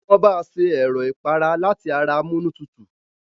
Wọn bá ṣe Ẹ̀rọ̀ ìpara láti ara amunútutù